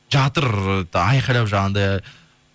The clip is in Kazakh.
жатыр ы айқайлап жаңағындай